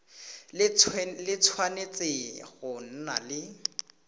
le tshwanetse go nna le